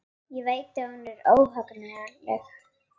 Ég veit að hún er óhagganleg.